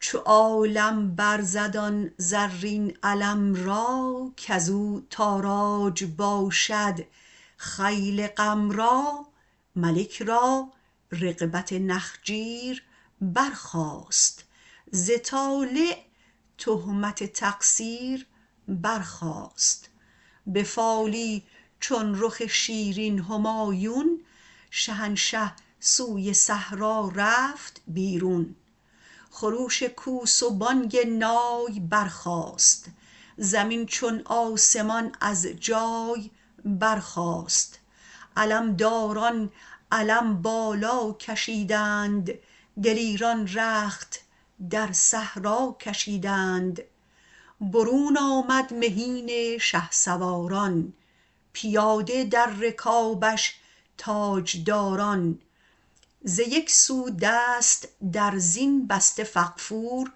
چو عالم برزد آن زرین علم را کز او تاراج باشد خیل غم را ملک را رغبت نخجیر برخاست ز طالع تهمت تقصیر برخاست به فالی چون رخ شیرین همایون شهنشه سوی صحرا رفت بیرون خروش کوس و بانگ نای برخاست زمین چون آسمان از جای برخاست علم داران علم بالا کشیدند دلیران رخت در صحرا کشیدند برون آمد مهین شهسواران پیاده در رکابش تاجداران ز یک سو دست در زین بسته فغفور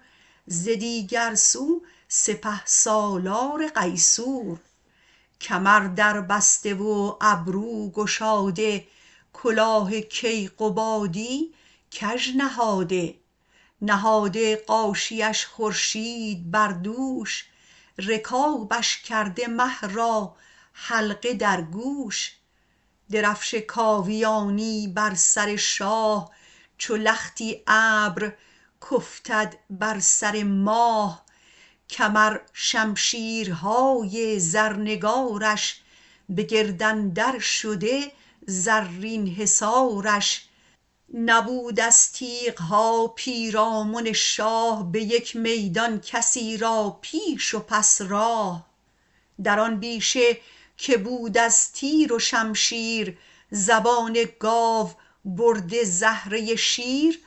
ز دیگر سو سپه سالار قیصور کمر دربسته و ابرو گشاده کلاه کیقبادی کژ نهاده نهاده غاشیه اش خورشید بر دوش رکابش کرده مه را حلقه در گوش درفش کاویانی بر سر شاه چو لختی ابر کافتد بر سر ماه کمر شمشیر های زرنگار ش به گرد اندر شده زرین حصارش نبود از تیغ ها پیرامن شاه به یک میدان کسی را پیش و پس راه در آن بیشه که بود از تیر و شمشیر زبان گاو برده زهره شیر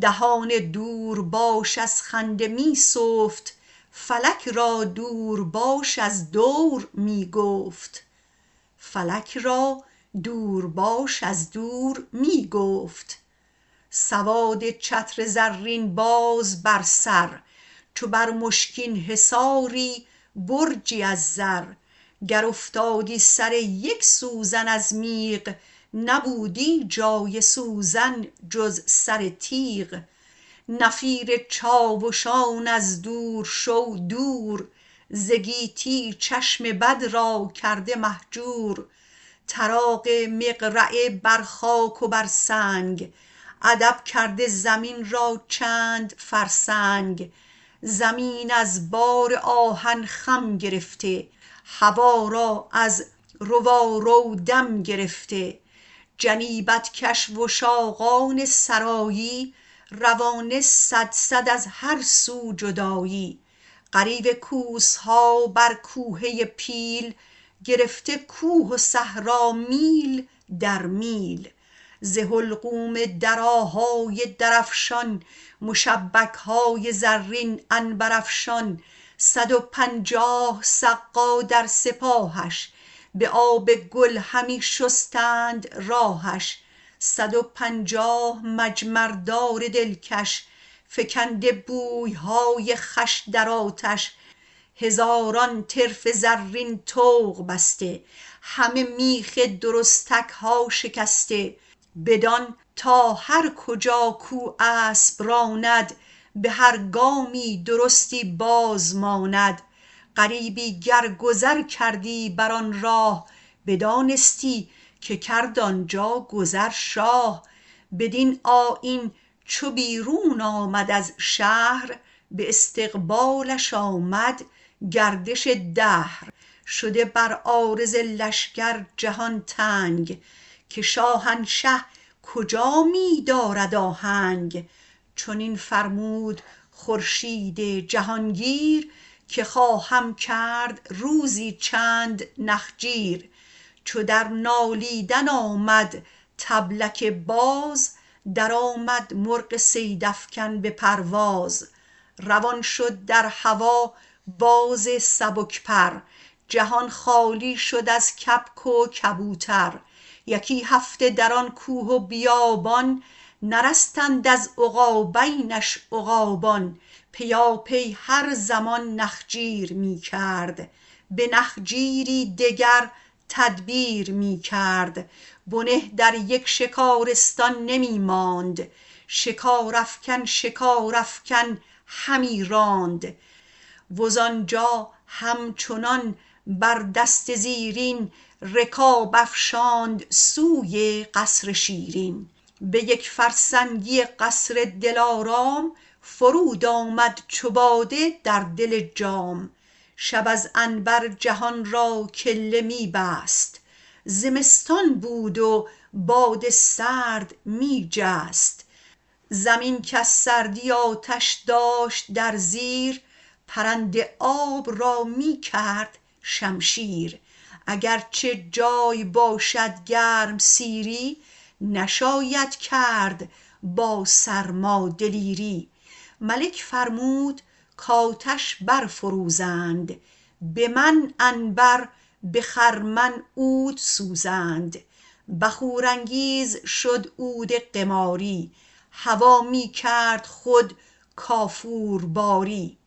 دهان دورباش از خنده می سفت فلک را دورباش از دور می گفت سواد چتر زرین باز بر سر چو بر مشکین حصاری برجی از زر گر افتادی سر یک سوزن از میغ نبودی جای سوزن جز سر تیغ نفیر چاوشان از دور شو دور ز گیتی چشم بد را کرده مهجور طراق مقرعه بر خاک و بر سنگ ادب کرده زمین را چند فرسنگ زمین از بار آهن خم گرفته هوا را از روارو دم گرفته جنیبت کش وشاقان سرایی روانه صدصد از هر سو جدایی غریو کوس ها بر کوهه پیل گرفته کوه و صحرا میل در میل ز حلقوم درا های درفشان مشبک های زرین عنبرافشان صد و پنجاه سقا در سپاهش به آب گل همی شستند راهش صد و پنجاه مجمر دار دل کش فکنده بوی های خوش در آتش هزاران طرف زرین طوق بسته همه میخ درستک ها شکسته بدان تا هر کجا کو اسب راند به هر گامی درستی بازماند غریبی گر گذر کردی بر آن راه بدانستی که کرد آنجا گذر شاه بدین آیین چو بیرون آمد از شهر به استقبالش آمد گردش دهر شده بر عارض لشکر جهان تنگ که شاهنشه کجا می دارد آهنگ چنین فرمود خورشید جهان گیر که خواهم کرد روزی چند نخجیر چو در نالیدن آمد طبلک باز درآمد مرغ صیدافکن به پرواز روان شد در هوا باز سبک پر جهان خالی شد از کبک و کبوتر یکی هفته در آن کوه و بیابان نرستند از عقابینش عقابان پیاپی هر زمان نخجیر می کرد به نخجیری دگر تدبیر می کرد بنه در یک شکارستان نمی ماند شکارافکن شکارافکن همی راند وز آن جا هم چنان بر دست زیرین رکاب افشاند سوی قصر شیرین به یک فرسنگی قصر دل آرام فرود آمد چو باده در دل جام شب از عنبر جهان را کله می بست زمستان بود و باد سرد می جست زمین کز سردی آتش داشت در زیر پرند آب را می کرد شمشیر اگر چه جای باشد گرم سیری نشاید کرد با سرما دلیری ملک فرمود کآتش برفروزند به من عنبر به خرمن عود سوزند بخورانگیز شد عود قماری هوا می کرد خود کافورباری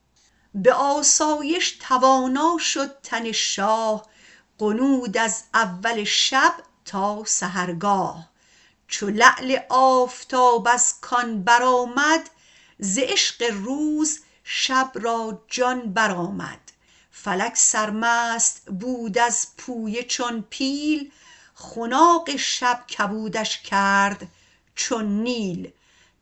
به آسایش توانا شد تن شاه غنود از اول شب تا سحرگاه چو لعل آفتاب از کان بر آمد ز عشق روز شب را جان بر آمد فلک سرمست بود از پویه چون پیل خناق شب کبودش کرد چون نیل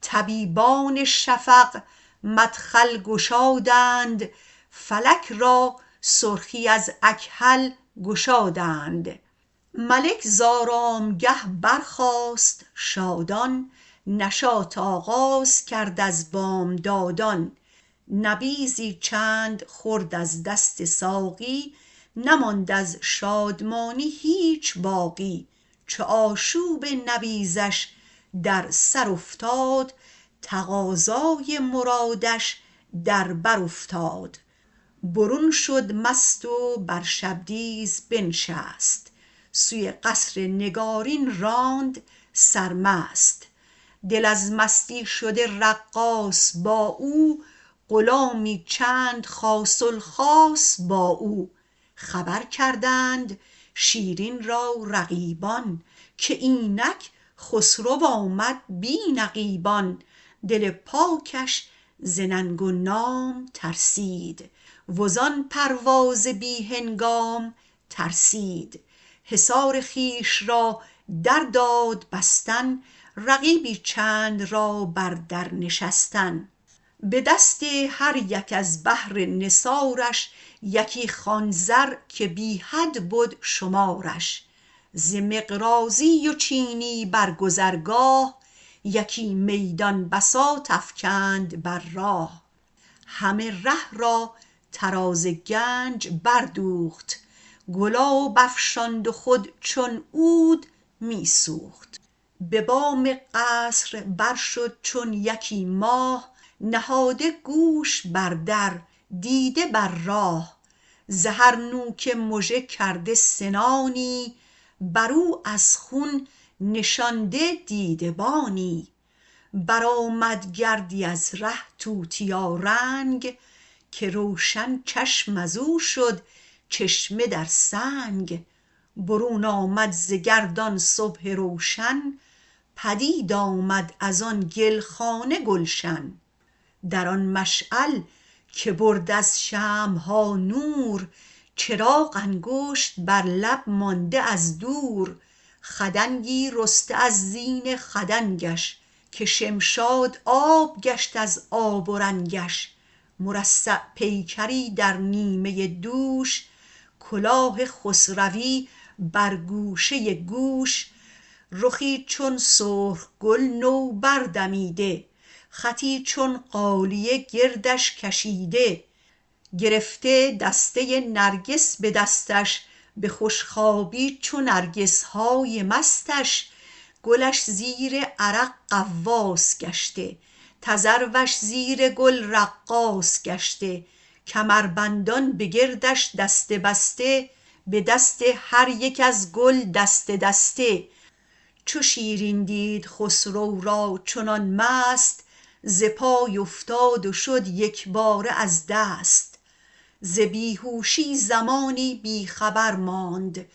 طبیبان شفق مدخل گشادند فلک را سرخی از اکحل گشادند ملک ز آرام گه برخاست شادان نشاط آغاز کرد از بامدادان نبیذی چند خورد از دست ساقی نماند از شادمانی هیچ باقی چو آشوب نبیذش در سر افتاد تقاضای مرادش در بر افتاد برون شد مست و بر شبدیز بنشست سوی قصر نگارین راند سرمست دل از مستی شده رقاص با او غلامی چند خاص الخاص با او خبر کردند شیرین را رقیبان که اینک خسرو آمد بی نقیبان دل پاکش ز ننگ و نام ترسید وزان پرواز بی هنگام ترسید حصار خویش را در داد بستن رقیبی چند را بر در نشستن به دست هر یک از بهر نثارش یکی خوان زر که بی حد بد شمارش ز مقراضی و چینی بر گذرگاه یکی میدان بساط افکند بر راه همه ره را طراز گنج بردوخت گلاب افشاند و خود چون عود می سوخت به بام قصر برشد چون یکی ماه نهاده گوش بر در دیده بر راه ز هر نوک مژه کرده سنانی بر او از خون نشانده دیده بانی برآمد گردی از ره توتیارنگ که روشن چشم از او شد چشمه در سنگ برون آمد ز گرد آن صبح روشن پدید آمد از آن گل خانه گلشن در آن مشعل که برد از شمع ها نور چراغ انگشت بر لب مانده از دور خدنگی رسته از زین خدنگش که شمشاد آب گشت از آب و رنگش مرصع پیکری در نیمه دوش کلاه خسروی بر گوشه گوش رخی چون سرخ گل نوبر دمیده خطی چون غالیه گردش کشیده گرفته دسته نرگس به دستش به خوش خوابی چو نرگس های مستش گلش زیر عرق غواص گشته تذروش زیر گل رقاص گشته کمربندان به گردش دسته بسته به دست هر یک از گل دسته دسته چو شیرین دید خسرو را چنان مست ز پای افتاد و شد یک باره از دست ز بی هوشی زمانی بی خبر ماند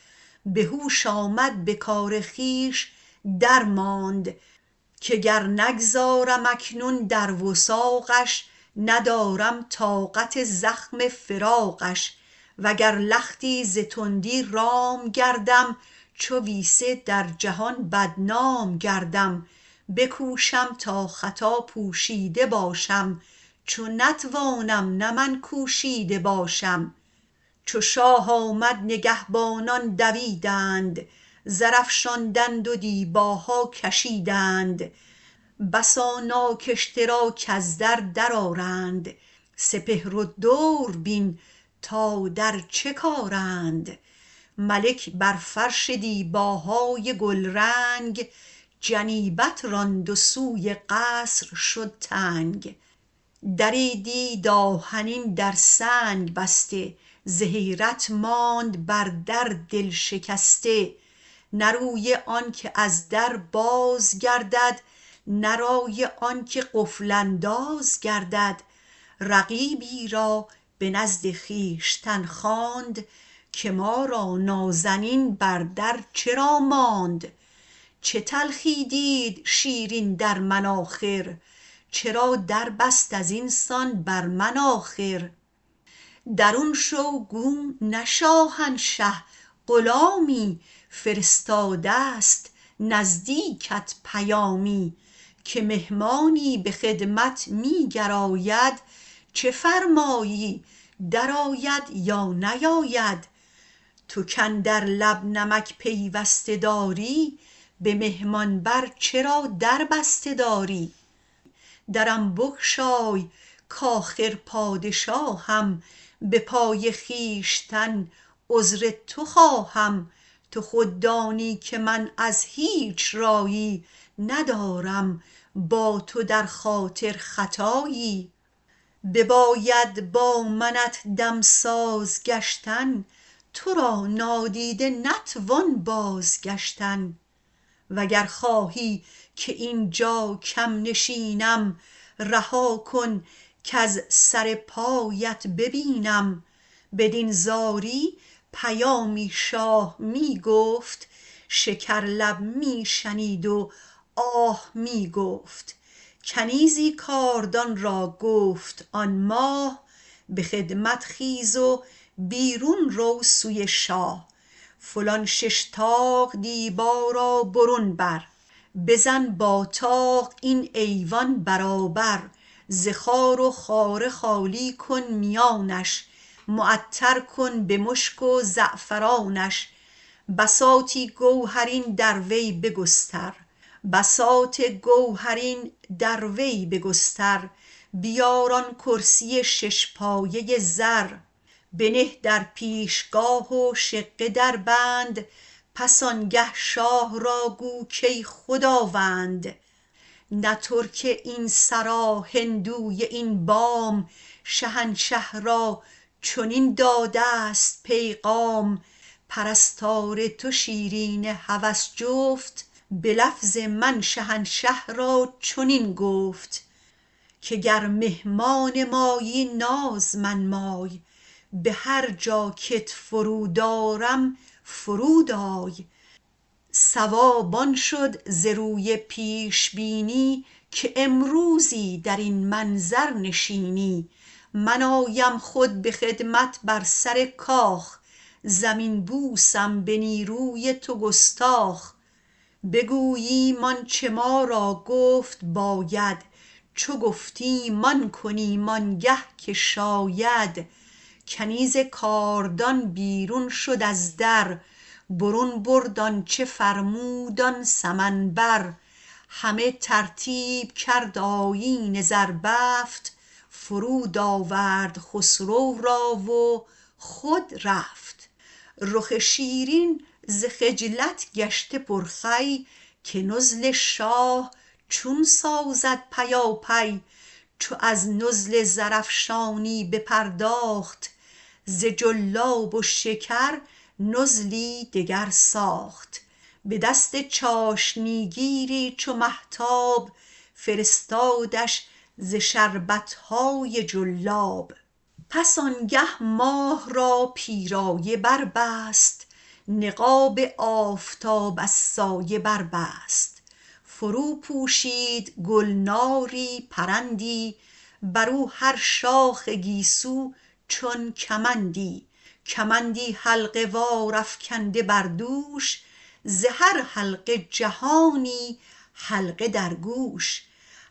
به هوش آمد به کار خویش درماند که گر نگذارم اکنون در وثاقش ندارم طاقت زخم فراقش و گر لختی ز تندی رام گردم چو ویسه در جهان بدنام گردم بکوشم تا خطا پوشیده باشم چو نتوانم نه من کوشیده باشم چو شاه آمد نگهبانان دویدند زر افشاندند و دیباها کشیدند بسا ناگشته را کز در درآرند سپهر و دور بین تا در چه کارند ملک بر فرش دیباهای گل رنگ جنیبت راند و سوی قصر شد تنگ دری دید آهنین در سنگ بسته ز حیرت ماند بر در دل شکسته نه روی آن که از در بازگردد نه رای آن که قفل انداز گردد رقیبی را به نزد خویشتن خواند که ما را نازنین بر در چرا ماند چه تلخی دید شیرین در من آخر چرا در بست از این سان بر من آخر درون شو گو نه شاهنشه غلامی فرستاده است نزدیکت پیامی که مهمانی به خدمت می گراید چه فرمایی درآید یا نیاید تو کاندر لب نمک پیوسته داری به مهمان بر چرا در بسته داری درم بگشای کآخر پادشاهم به پای خویشتن عذر تو خواهم تو خود دانی که من از هیچ رایی ندارم با تو در خاطر خطا یی بباید با منت دم ساز گشتن تو را نادیده نتوان بازگشتن و گر خواهی که این جا کم نشینم رها کن کز سر پایت ببینم بدین زاری پیامی شاه می گفت شکر لب می شنید و آه می گفت کنیزی کاردان را گفت آن ماه به خدمت خیز و بیرون رو سوی شاه فلان شش طاق دیبا را برون بر بزن با طاق این ایوان برابر ز خار و خاره خالی کن میانش معطر کن به مشک و زعفرانش بساط گوهرین در وی بگستر بیار آن کرسی شش پایه زر بنه در پیش گاه و شقه دربند پس آن گه شاه را گو کای خداوند نه ترک این سرا هندوی این بام شهنشه را چنین داده است پیغام پرستار تو شیرین هوس جفت به لفظ من شهنشه را چنین گفت که گر مهمان مایی ناز منمای به هر جا که ت فرود آرم فرود آی صواب آن شد ز روی پیش بینی که امروزی در این منظر نشینی من آیم خود به خدمت بر سر کاخ زمین بوسم به نیروی تو گستاخ بگوییم آن چه ما را گفت باید چو گفتیم آن کنیم آن گه که شاید کنیز کاردان بیرون شد از در برون برد آن چه فرمود آن سمن بر همه ترتیب کرد آیین زربفت فرود آورد خسرو را و خود رفت رخ شیرین ز خجلت گشته پر خوی که نزل شاه چون سازد پیاپی چو از نزل زرافشانی بپرداخت ز جلاب و شکر نزلی دگر ساخت به دست چاشنی گیری چو مهتاب فرستادش ز شربت های جلاب پس آن گه ماه را پیرایه بربست نقاب آفتاب از سایه بربست فرو پوشید گل ناری پرندی بر او هر شاخ گیسو چون کمندی کمندی حلقه وار افکنده بر دوش ز هر حلقه جهانی حلقه در گوش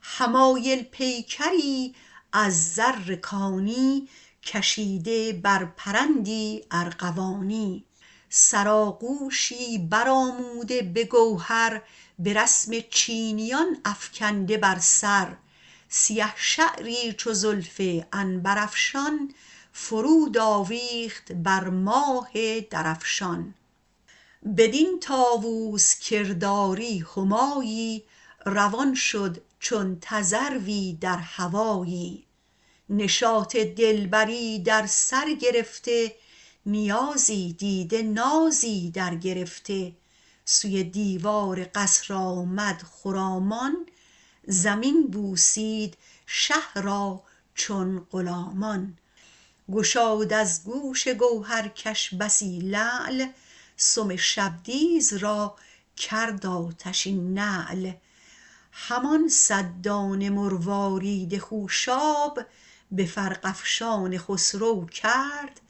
حمایل پیکری از زر کانی کشیده بر پرندی ارغوانی سرآغوشی برآموده به گوهر به رسم چینیان افکنده بر سر سیه شعری چو زلف عنبرافشان فرود آویخت بر ماه درفشان بدین طاوس کرداری همایی روان شد چون تذروی در هوایی نشاط دل بری در سر گرفته نیازی دیده نازی درگرفته سوی دیوار قصر آمد خرامان زمین بوسید شه را چون غلامان گشاد از گوش گوهرکش بسی لعل سم شبدیز را کرد آتشین نعل همان صد دانه مروارید خوش آب به فرق افشان خسرو کرد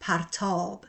پرتاب